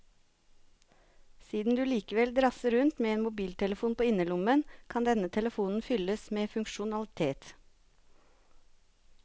Siden du likevel drasser rundt med en mobiltelefon på innerlommen, kan denne telefonen fylles med funksjonalitet.